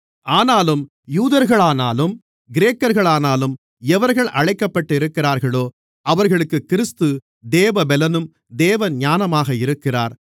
ஆனாலும் யூதர்களானாலும் கிரேக்கர்களானாலும் எவர்கள் அழைக்கப்பட்டிருக்கிறார்களோ அவர்களுக்குக் கிறிஸ்து தேவபெலனும் தேவஞானமுமாக இருக்கிறார்